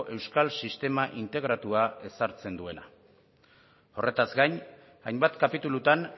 euskal sistema integratua ezartzen duena horretaz gain hainbat kapitulutan